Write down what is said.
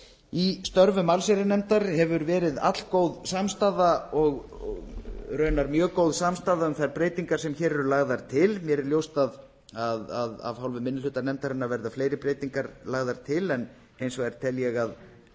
í störfum allsherjarnefndar hefur verið allgóð samstaða og raunar mjög góð samstaða um þær breytingar sem hér eru lagðar til mér er ljóst að af hálfu minni hluta nefndarinnar verða fleiri breytingar lagðar til en hins vegar tel ég að